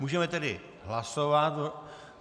Můžeme tedy hlasovat.